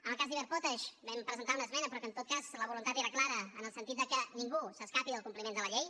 en el cas d’iberpotash vam presentar una esmena però que en tot cas la voluntat era clara en el sentit que ningú s’escapi del compliment de la llei